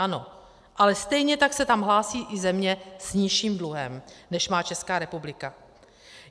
Ano, ale stejně tak se tam hlásí i země s nižším dluhem, než má Česká republika.